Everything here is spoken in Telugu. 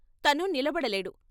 తను నిలబడలేడు.